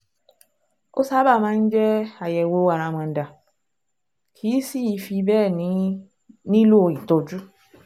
Ó sábà máa ń jẹ́ àyẹ̀wò àràmàǹdà, kìí sì í fi bẹ́ẹ̀ nílò ìtọ́jú